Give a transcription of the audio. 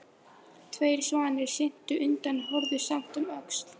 Tveir svanir syntu undan en horfðu samt um öxl.